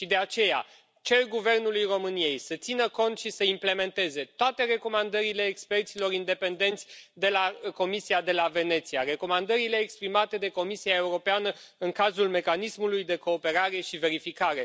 Și de aceea, cer Guvernului României să țină cont și să implementeze toate recomandările experților independenți de la Comisia de la Veneția, recomandările exprimate de Comisia Europeană în cazul mecanismului de cooperare și verificare.